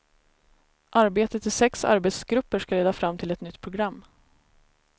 Arbetet i sex arbetsgrupper ska leda fram till ett nytt program.